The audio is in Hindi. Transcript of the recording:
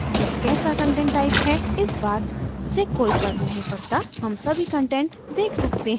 यह कैसा content type है इस बात से कोई फर्क नहीं पडता हम सभी कंटेंट देख सकते हैं